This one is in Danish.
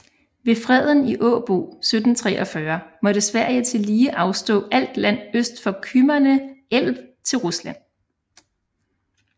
Ved freden i Åbo 1743 måtte Sverige tillige afstå alt land øst for Kymmene älv til Rusland